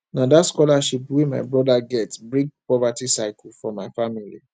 na dat scholarship wey my broda get break poverty cycle for my family